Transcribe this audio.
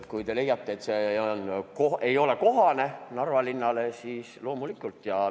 Kui te leiate, et sellise nimega plats ei ole Narva linnale kohane, siis loomulikult.